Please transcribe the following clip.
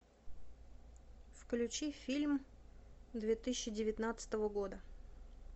включи фильм две тысячи девятнадцатого года